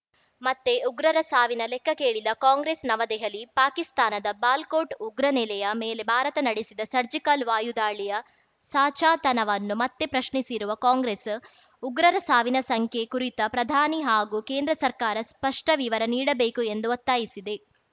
ಮತ್ತೆ ಉಗ್ರರ ಸಾವಿನ ಲೆಕ್ಕ ಕೇಳಿದ ಕಾಂಗ್ರೆಸ್‌ ನವದೆಹಲಿ ಪಾಕಿಸ್ತಾನದ ಬಾಲ್ ಕೋಟ್‌ ಉಗ್ರ ನೆಲೆಯ ಮೇಲೆ ಭಾರತ ನಡೆಸಿದ ಸರ್ಜಿಕಲ್‌ ವಾಯು ದಾಳಿಯ ಸಾಚಾತನವನ್ನು ಮತ್ತೆ ಪ್ರಶ್ನಿಸಿರುವ ಕಾಂಗ್ರೆಸ್‌ ಉಗ್ರರ ಸಾವಿನ ಸಂಖ್ಯೆ ಕುರಿತ ಪ್ರಧಾನಿ ಹಾಗೂ ಕೇಂದ್ರ ಸರ್ಕಾರ ಸ್ಪಷ್ಟವಿವರ ನೀಡಬೇಕು ಎಂದು ಒತ್ತಾಯಿಸಿದೆ